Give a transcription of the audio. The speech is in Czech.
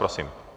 Prosím.